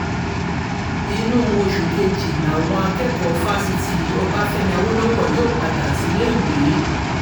inú oṣù kejì làwọn akẹ́kọ̀ọ́ fáṣítì ọbáfẹ́mi awolowo yóò padà síléèwé